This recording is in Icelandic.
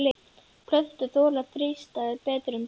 Plöntur þola þrístæður betur en dýr.